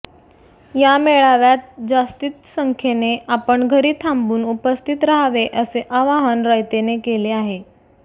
या मेळाव्यात जास्तीत संख्येने आपण घरी थांबून उपस्थित राहावे असे आवाहन रयतने केले आहे